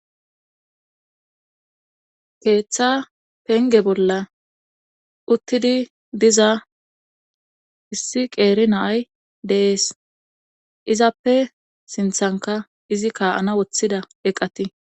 keeththa penge bolla uttidii diza issi qeeri na'ay de'ees izappe sinthankka izi kaa'ana woththida eqati